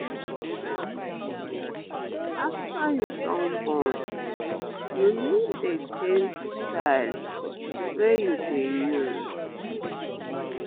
to improve breastfeeding afta you don born you need dey change style wey you dey use